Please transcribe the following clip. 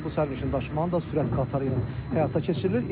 Təbii ki, bu sərnişin daşımanın da sürət qatarı ilə həyata keçirilir.